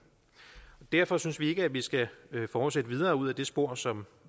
derfor synes vi ikke at vi skal fortsætte videre ud ad det spor som